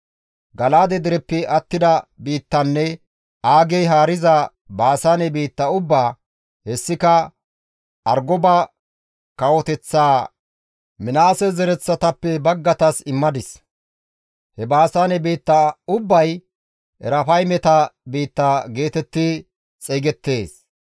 Gala7aade dereppe attida biittanne Aagey haariza Baasaane biitta ubbaa, hessika Argoba kawoteththaa Minaase zereththatappe baggaytas immadis. (He Baasaane biitta ubbay Erafaymeta biitta geetetti xeygettees.